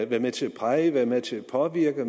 være med til at præge være med til at påvirke og